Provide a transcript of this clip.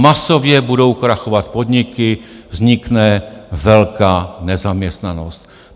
Masově budou krachovat podniky, vznikne velká nezaměstnanost.